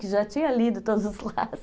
Que já tinha lido todos os lados